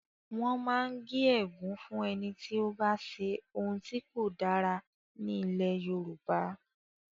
Wọ́n máa ń gé ègún fún ẹni tí ó bá ṣe ohun tí kò dára ní ilẹ̀ Yorùbá.